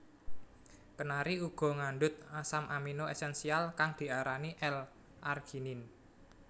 Kenari uga ngandhut asam amino esensial kang diarani L arginine